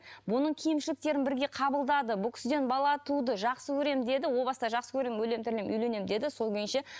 бұның кемшіліктерін бірге қабылдады бұл кісіден бала туды жақсы көремін деді ол баста жақсы көремін өлемін тірілемін үйленемін деді сол күйінше